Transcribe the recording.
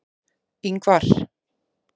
Ingvar